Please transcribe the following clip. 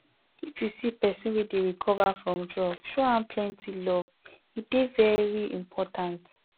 if you see pesin wey dey recover from drug show am plenty love e dey very important